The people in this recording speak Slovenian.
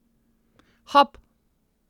Hop!